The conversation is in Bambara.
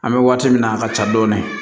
An bɛ waati min na a ka ca dɔɔni